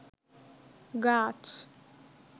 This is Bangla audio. গাছ